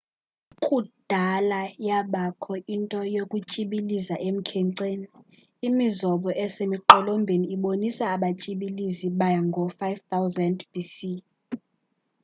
kudala yabakho into yokutyibiliza emkhenceni imizobo esemiqolombeni ibonisa abatyibilizi bangoo-5000 bc